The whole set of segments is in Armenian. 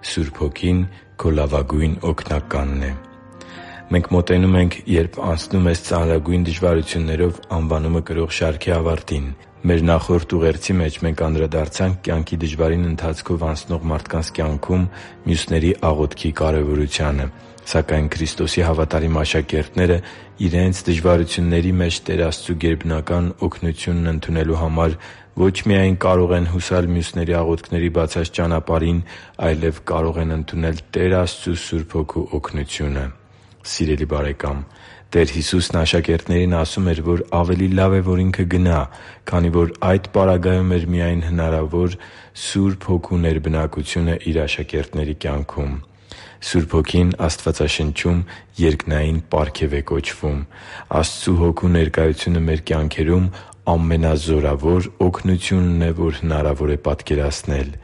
Սուրբ Հոգին քո լավագույն Օգնականն է Մենք մոտենում ենք «Երբ անցնում ես ծանրագույն դժվարություններով» անվանումը կրող շարքի ավարտին։ Նախորդ ուղերձի մեջ մենք անդրադարձանք դժվարին ընթացքով անցնող մարդկանց կյանքում մյուսների աղոթքի կարևորությանը։ Սակայն Քրիստոսի հավատարիմ աշակերտներն իրենց դժվարությունների մեջ Տեր Աստծու գերբնական օգնությունն ընդունելու համար ո՛չ միայն կարող են հուսալ մյուսների աղոթքների բացած ճանապարհին, այլև կարող են ընդունել Տեր Աստծու Սուրբ Հոգու օգնությունը։ Սիրելի՛ բարեկամ, Տեր Հիսուսն աշակերտներին ասում էր, որ ավելի լավ է, որ Ինքը գնա, քանի որ այդ պարագայում էր միայն հնարավոր Սուրբ Հոգու ներբնակությունը Իր աշակերտների կյանքում։ Սուրբ Հոգին Աստվածաշնչում երկնային պարգև է կոչվում։ Աստծու Հոգու ներկայությունը մեր կյանքերում ամենազորավոր օգնությունն է, որ հնարավոր է պատկերացնել։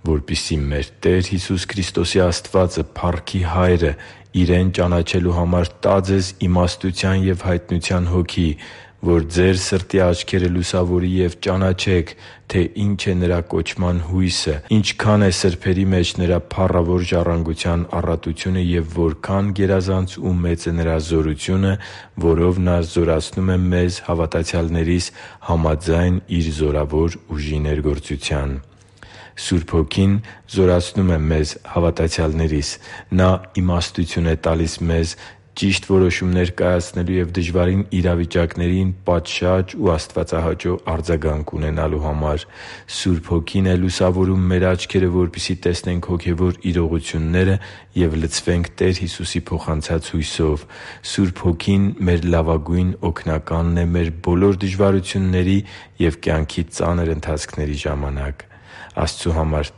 «…որպեսզի մեր Տեր Հիսուս Քրիստոսի Աստվածը՝ փառքի Հայրը, Իրեն ճանաչելու համար տա ձեզ իմաստության և հայտնության Հոգի, որ ձեր սրտի աչքերը լուսավորի, և ճանաչեք, թե ի՛նչ է Նրա կոչման հույսը, ինչքա՛ն է սրբերի մեջ Նրա փառավոր ժառանգության առատությունը, և որքա՛ն գերազանց ու մեծ է Նրա զորությունը, որով Նա զորացնում է մեզ՝ հավատացյալներիս՝ համաձայն Իր զորավոր ուժի ներգործության» (Եփեսացիներին 1.17-19 ՆՎԱԱ): Սուրբ Հոգին զորացնում է մեզ՝ հավատացյալներիս։ Նա իմաստություն է մեզ տալիս ճիշտ որոշումներ կայացնելու և դժվարին իրավիճակներին պատշաճ ու աստվածահաճո արձագանք ունենալու համար։ Սուրբ Հոգին է լուսավորում մեր աչքերը, որպեսզի տեսնենք հոգևոր իրողությունները և լցվենք Տեր Հիսուսի փոխանցած հույսով։ Սուրբ Հոգին մեր լավագույն Օգնականն է մեր բոլոր դժվարությունների և կյանքի ծանր ընթացքների ժամանակ։ Աստծու համար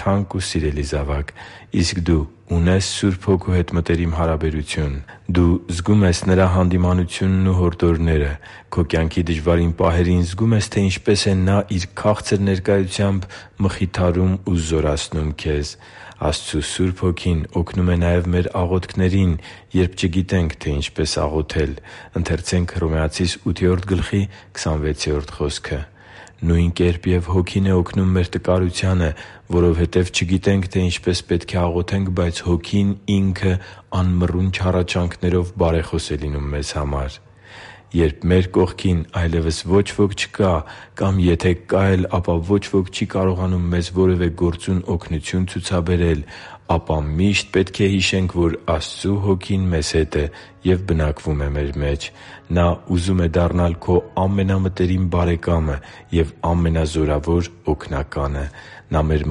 թանկ ու սիրելի՛ զավակ, իսկ դու ունե՞ս Սուրբ Հոգու հետ մտերիմ հարաբերություն։ Դու զգո՞ւմ ես Նրա հանդիմանությունն ու հորդորները։ Քո կյանքի դժվարին պահերին զգո՞ւմ ես, թե ինչպես է Նա Իր քաղցր ներկայությամբ մխիթարում ու զորացնում քեզ։ Աստծու Սուրբ Հոգին օգնում է նաև մեր աղոթքներին, երբ չգիտենք, թե ինչպես աղոթել։ «Նույն կերպ և Հոգին է օգնում մեր տկարությանը, որովհետև չգիտենք, թե ինչպես պետք է աղոթենք, բայց Հոգին Ինքը անմռունչ հառաչանքներով բարեխոս է լինում մեզ համար» (Հռոմեացիս 8․26 ՆՎԱԱ): Երբ մեր կողքին այլևս ոչ ոք չկա, կամ եթե կա էլ, բայց ոչ ոք չի կարողանում մեզ որևէ գործուն օգնություն ցուցաբերել, ապա միշտ պետք է հիշենք, որ Աստծու Հոգին մեզ հետ է և բնակվում է մեր մեջ։ Նա ուզում է դառնալ քո ամենամտերիմ Բարեկամը և ամենազորավոր Օգնականը։ Նա մեր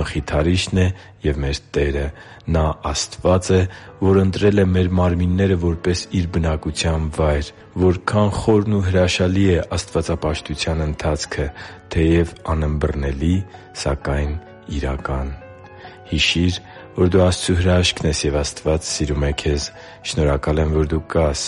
Մխիթարիչն է և մեր Տերը։ Նա Աստված է, որ ընտրել է մեր մարմինները՝ որպես Իր բնակության վայր։ Որքա՜ն խորն ու հրաշալի է աստվածապաշտության ընթացքը։ Թեև անըմբռնելի, սակայն՝ իրական․․․ Հիշի՛ր, որ դու Աստծո հրաշքն ես, և Աստված սիրում է քեզ։ Շնորհակալ եմ, որ դու կա՛ս